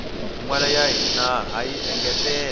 minwala ya hina hayi engetela